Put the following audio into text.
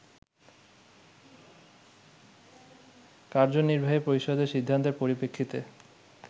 কার্যনির্বাহী পরিষদের সিদ্ধান্তের পরিপ্রেক্ষিতে